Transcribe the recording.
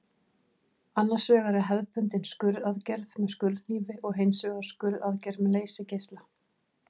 Annars vegar er hefðbundin skurðaðgerð með skurðhnífi og hins vegar skurðaðgerð með leysigeisla.